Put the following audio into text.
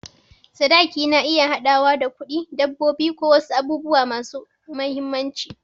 Sadaki na iya haɗawa da kuɗi, dabbobi, ko wasu abubuwa masu mahimmanci.